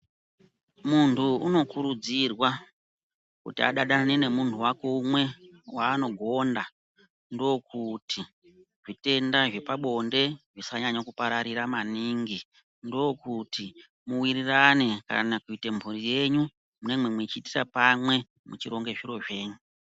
Munthu unokurudzirwa kuti adanane nemunthu wake umwe waanogonda ndookuti zvitenda zvepabonde zvisanyanya kupararira maningi nfookuti muwirirane kana kuite mburi yenyu munenge muchiitira pamwe muchironge zviro zvenyu.